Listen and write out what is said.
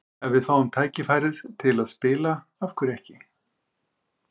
Ef við fáum tækifærið til að spila, af hverju ekki?